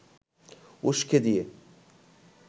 উসকে দিয়ে